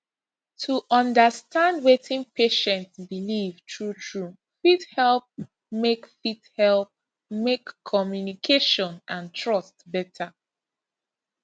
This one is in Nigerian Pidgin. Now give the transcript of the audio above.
to understand wetin patient believe truetrue fit help make fit help make communication and trust better